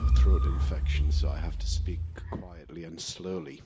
I have a throat infection so I have to speak quietly and slowly.